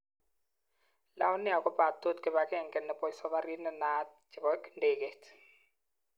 lion air ko patot kipangenge nepo safarit nenaat chepo ndegeit.